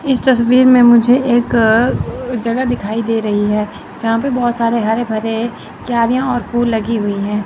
इस तस्वीर में मुझे एक अ जगह दिखाई दे रही है जहां पे बहोत सारे हरे भरे क्यारियां और फूल लगी हुई है।